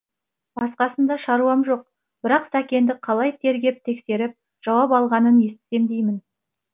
басқасында шаруам жоқ бірақ сәкенді қалай тергеп тексеріп жауап алғанын естісем деймін